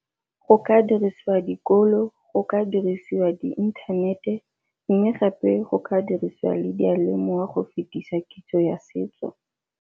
Go ka dirisiwa dikolo, go ka dirisiwa di inthanete mme gape go ka dirisiwa le diyalemoya go fetisa kitso ya setso.